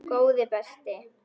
Góði besti.!